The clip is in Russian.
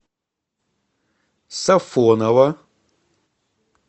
сафоново